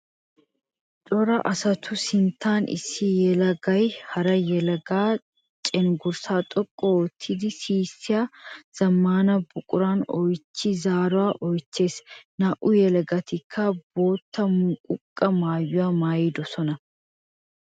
Cora asattu sinttan issi yelagay hara yelaga cenggurssa xoqqu oottiddi sissiya zamaana buquran oychchi zaaruwa oychchees. Naa'u yeelagattikka bootta muqaqee maayuwa maayidosona.